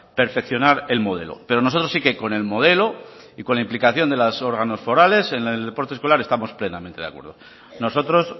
perfeccionar el modelo pero nosotros sí que con el modelo y con implicación de los órganos forales en el deporte escolar estamos plenamente de acuerdo nosotros